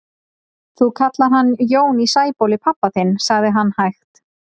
Þú kallar hann Jón í Sæbóli pabba þinn, sagði hann hægt.